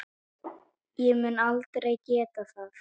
Ég mun aldrei geta það.